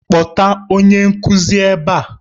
Kpọta onye nkuzi ebe a!